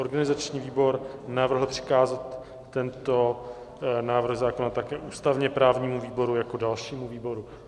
Organizační výbor navrhl přikázat tento návrh zákona také ústavně-právnímu výboru jako dalšímu výboru.